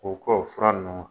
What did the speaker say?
O kɔ fura ninnu